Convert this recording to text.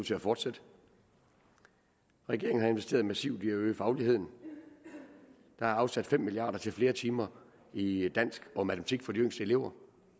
til at fortsætte regeringen har investeret massivt i at øge fagligheden der er afsat fem milliard kroner til flere timer i i dansk og matematik for de yngste elever